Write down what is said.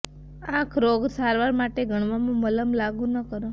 આંખ રોગો સારવાર માટે ગણવામાં મલમ લાગુ ન કરો